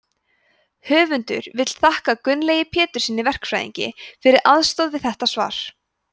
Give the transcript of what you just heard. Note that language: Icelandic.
höfundur vill þakka gunnlaugi péturssyni verkfræðingi fyrir aðstoð við þetta svar